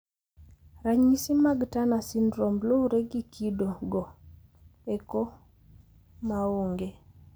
Ranyisi mag Turner syndrome lure gi kido go eko maonge.